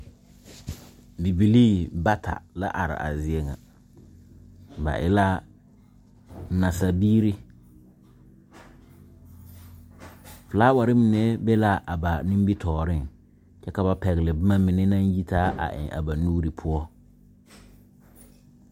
Bibilii bata la are a zie nyɛ. Ba e la naasaalbibiire kyɛ ka filaaware mine be a ba nimitɔɔreŋ. Ba pɛgle la boma ba nuure pʋɔ ka a yi taa .